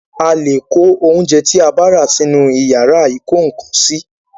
A le kò oúnjẹ tí a bá rà sì inú yàrá ìkó ǹkan sí